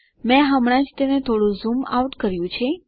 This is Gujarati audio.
મેં હમણાં જ તેને થોડું ઝૂમ આઉટ કર્યું છે